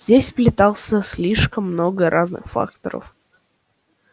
здесь сплетался слишком много разных факторов